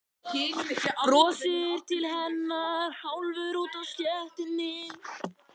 Brosir til hennar hálfur úti á stéttinni.